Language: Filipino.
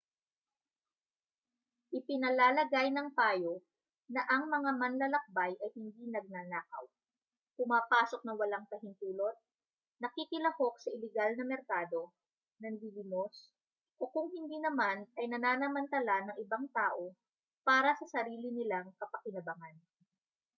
ipinalalagay ng payo na ang mga manlalakbay ay hindi nagnanakaw pumapasok nang walang pahintulot nakikilahok sa ilegal na merkado nanlilimos o kung hindi naman ay nananamantala ng ibang tao para sa sarili nilang kapakinabangan